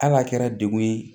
Hali a kɛra degun ye